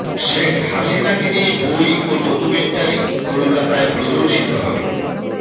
শেখ হাসিনাকে নিয়ে বই ও ডকুমেন্টারি কলকাতায় প্রদর্শিত হবে